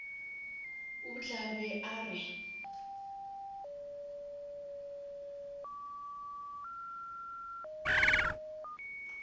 o tla be a re